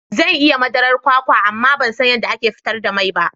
Zan iya yin madarar kwakwa amma ban san yadda ake fitar da mai ba.